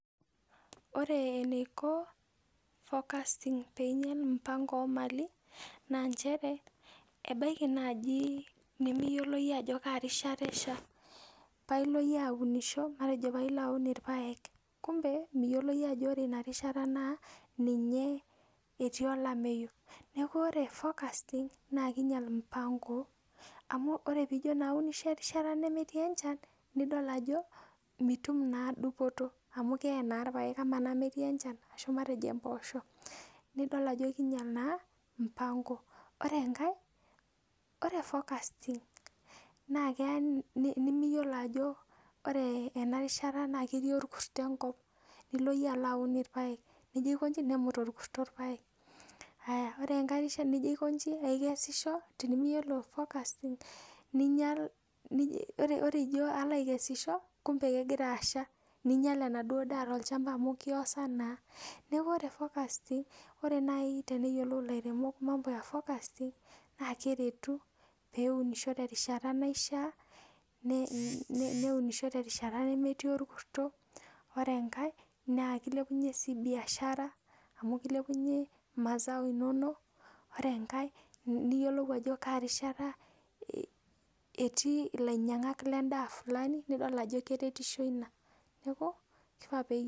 ore eneiko forecasting peinyel mpango ooomali naa nchere ebaiki najii nimiyiolo iyie ajoo kaa rishata esha nilo iyie aunisho matejo paa ilo aun ilpaek kumbe miyiolo iyie ajo ore ina rishata naa ninye etii olameyu neeku ore forecasting naa keinyel mpango ore tenijoo naa aunisho erishata nemetii enchan nidol ajo mituum naa dupoto amu kee na ilpaek ama naa metii enchan aashu matejo impoosho nidol ajo keinyal naa mpango ore enkai ore forecasting naa keya nimiyiolo ajo ore enarishata naa ketii orkuto enkop nilo iyie alo aun ilpaek nijo aikonji nemut olkurto ilpaek ayaa ore enkaii rishata nijo aiko inji akesisho tenimiyiolo forecasting ore ijo alo akesisho kumbe kegira asha neinyal enaduo daa tolchamba amuu keiosaa naa neeku ore forecasting ore naai teneyiolou ilairemok mambo e forecasting naa keretu pee eunisho terishata naishaa neunisho terishata nemetii orkuto ore enkai naa keilepunye sii bishara amu keilepunye mazao iinonok ore enkai niyiolou ajo kaa rishata etii ilainyangak lendaa fulani nidol ajo keretisho ina neeku keifaa pe...